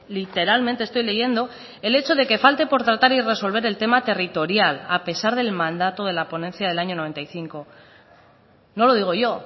literalmente estoy leyendo el hecho de que falte por tratar y resolver el tema territorial a pesar del mandato de la ponencia del año noventa y cinco no lo digo yo